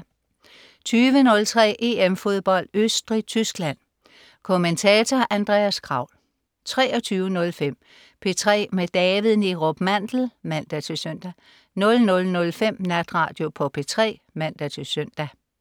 20.03 EM Fodbold. Østrig-Tyskland. Kommentator: Andreas Kraul 23.05 P3 med David Neerup Mandel (man-søn) 00.05 Natradio på P3 (man-søn)